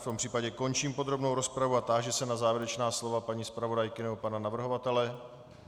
V tom případě končím podrobnou rozpravu a táži se na závěrečná slova paní zpravodajky nebo pana navrhovatele.